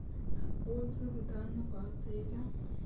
отзывы данного отеля